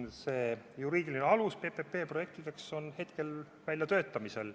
PPP-projektide juriidiline alus hetkel väljatöötamisel.